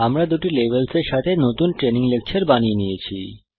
আমরা দুটি লেভেলসের সাথে নতুন ট্রেনিং লেকচর বানিয়ে নিয়েছি